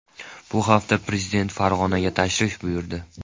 Bu hafta prezident Farg‘onaga tashrif buyurdi .